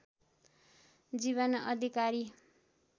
जीवन अधिकारी